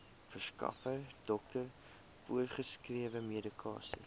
verskaffer dokter voorgeskrewemedikasie